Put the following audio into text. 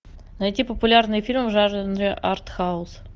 найти популярные фильмы в жанре артхаус